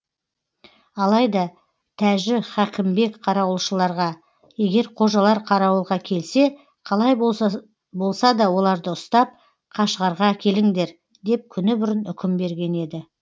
алайда тәжі хәкімбек қарауылшыларға егер қожалар қарауылға келсе қалай болса да оларды ұстап қашғарға әкеліңдер деп күні бұрын үкім берген еді